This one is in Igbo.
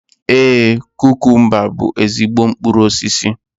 Ee, kukumba bú ezigbo mkpụrụ osisi.